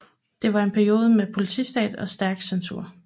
Det var en periode med politistat og stærk censur